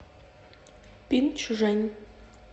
пинчжэнь